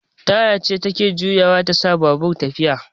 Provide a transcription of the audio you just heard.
Taya ce take juyawa tasa babur yayi tafiya